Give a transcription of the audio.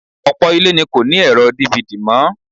Ọ̀pọ̀ ilé ni kò ní ẹ̀rọ DVD mọ́